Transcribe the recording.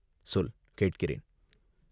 சொல், கேட்கிறேன்.